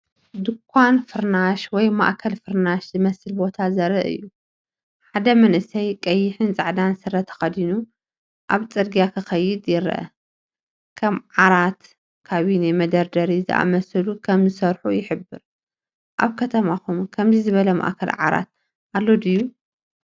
ድኳን ፍርናሽ ወይ ማእከል ፍርናሽ ዝመስል ቦታ ዘርኢ እዩ። ሓደ መንእሰይ ቀይሕን ጻዕዳን ስረ ተኸዲኑ ኣብ ጽርግያ ክኸይድ ይርአ። ከም ዓራት፡ ካቢነ፡ መደርደሪ ዝኣመሰሉ ከም ዝሰርሑ ይሕብር። ኣብ ከተማኹም ከምዚ ዝበለ ማእከል ዓራት ኣሎ ድዩ?